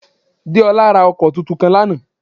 Déolá ra ọkọ̀ tuntun kan lánàá